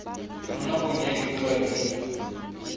mo nakong ya diura di